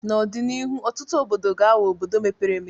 N'ọdịnihu ọtụtụ obodo ga-aghọ obodo mepere emepe.